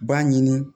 B'a ɲini